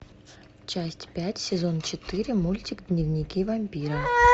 часть пять сезон четыре мультик дневники вампира